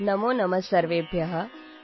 ನಮೋನಮಃಸರ್ವೇಭ್ಯಃ